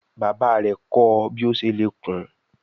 Bàbá rè kò ọ bí o ṣe lè kún.